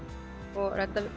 og redda